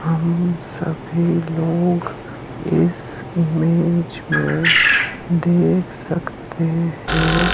हम सभी लोग इस इमेज में देख सकते हैं।